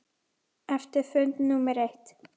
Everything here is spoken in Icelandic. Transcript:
Eftir fund númer eitt.